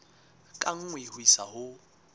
ka nngwe ho isa ho